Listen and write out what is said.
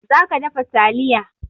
Za ka dafa taliya!